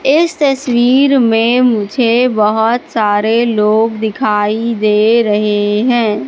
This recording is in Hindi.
इस तस्वीर में मुझे बहोत सारे लोग दिखाई दे रहे हैं।